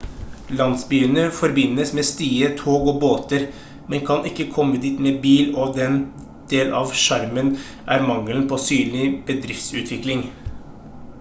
landsbyene forbindes med stier tog og båter man kan ikke komme dit med bil og en del av sjarmen er mangelen på synlig bedriftsutvikling